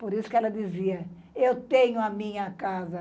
Por isso que ela dizia, eu tenho a minha casa.